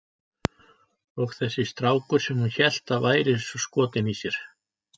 Og þessi strákur sem hún hélt að væri svo skotinn í sér!